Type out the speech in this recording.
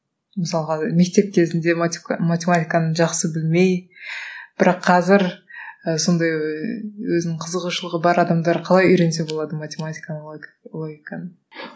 мысалға мектеп кезінде математиканы жақсы білмей бірақ қазір і сондай өзінің қызығушылығы бар адамдар қалай үйренсе болады математиканы логиканы